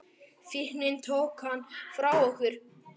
Fíknin tók hann frá okkur.